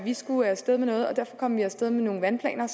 vi skulle af sted med noget og derfor kom vi af sted med nogle vandplaner